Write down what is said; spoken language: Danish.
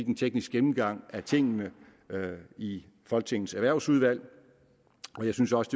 en teknisk gennemgang af tingene i folketingets erhvervsudvalg og jeg synes også